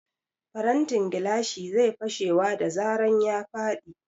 Farantin gilashi zai fashewa da zaran ya faɗi.